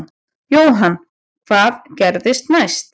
Jóhann: Hvað gerist næst?